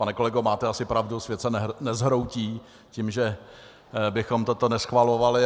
Pane kolego, máte asi pravdu, svět se nezhroutí tím, že bychom toto neschvalovali.